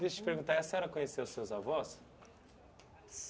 Deixa eu perguntar, a senhora conheceu seus avós?